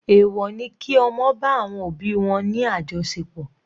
Èwọ̀ ni kí ọmọ bá àwọn òbí wọn ní àjọṣepọ̀.